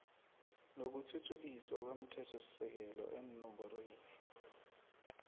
nokuthuthukiswa komthethosisekelo eenomborweni